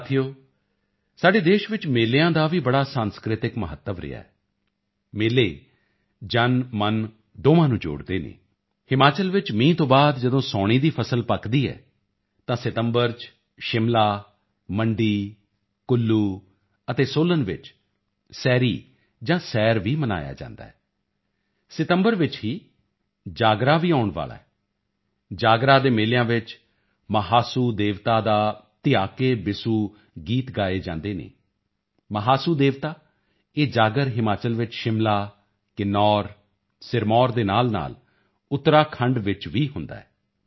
ਸਾਥੀਓ ਸਾਡੇ ਦੇਸ਼ ਵਿੱਚ ਮੇਲਿਆਂ ਦਾ ਵੀ ਬੜਾ ਸਾਂਸਕ੍ਰਿਤਕ ਮਹੱਤਵ ਰਿਹਾ ਹੈ ਮੇਲੇ ਜਨਮਨ ਦੋਹਾਂ ਨੂੰ ਜੋੜਦੇ ਹਨ ਹਿਮਾਚਲ ਵਿੱਚ ਮੀਂਹ ਤੋਂ ਬਾਅਦ ਜਦੋਂ ਸਾਉਣੀ ਦੀ ਫਸਲ ਪੱਕਦੀ ਹੈ ਤਾਂ ਸਤੰਬਰ ਚ ਸ਼ਿਮਲਾ ਮੰਡੀ ਕੁੱਲੂ ਅਤੇ ਸੋਲਨ ਵਿੱਚ ਸੈਰੀ ਜਾਂ ਸੈਰ ਵੀ ਮਨਾਇਆ ਜਾਂਦਾ ਹੈ ਸਤੰਬਰ ਵਿੱਚ ਹੀ ਜਾਗਰਾ ਵੀ ਆਉਣ ਵਾਲਾ ਹੈ ਜਾਗਰਾ ਦੇ ਮੇਲਿਆਂ ਵਿੱਚ ਮਹਾਸੂ ਦੇਵਤਾ ਦਾ ਧਿਆ ਕੇ ਬਿਸੂ ਗੀਤ ਗਾਏ ਜਾਂਦੇ ਹਨ ਮਹਾਸੂ ਦੇਵਤਾ ਇਹ ਜਾਗਰ ਹਿਮਾਚਲ ਵਿੱਚ ਸ਼ਿਮਲਾ ਕਿੰਨੌਰ ਅਤੇ ਸਿਰਮੌਰ ਦੇ ਨਾਲਨਾਲ ਉੱਤਰਾਖੰਡ ਵਿੱਚ ਵੀ ਹੁੰਦਾ ਹੈ